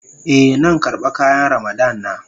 Eh, nan karba kayan Ramadan na.